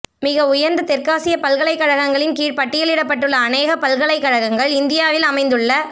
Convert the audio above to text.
மிக உயர்ந்த தெற்காசிய பல்கலைக்கழகங்களின் கீழ் பட்டியலிடப்பட்டுள்ள அநேக பல்கலைக்கழகங்கள் இந்தியா வில் அமைந்துள்ள